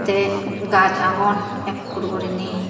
tey gaas agon ekkur gurinay.